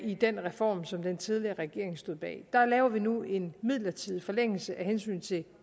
i den reform som den tidligere regering stod bag der laver vi nu en midlertidig forlængelse af hensyn til